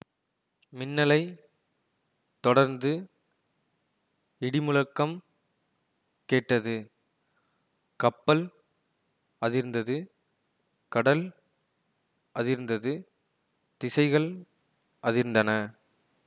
மின்னலைத் தொடர்ந்து இடிமுழக்கம் கேட்டது கப்பல் அதிர்ந்தது கடல் அதிர்ந்தது திசைகள் அதிர்ந்தன